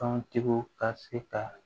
Tɔntigiw ka se ka